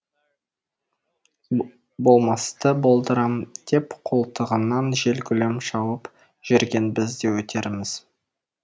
болмасты болдырам деп қолтығынан жел гулеп шауып жүрген біз де өтерміз